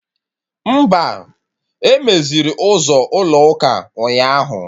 Mba, emeziri ụzọ ụlọ ụka ụnyaahụ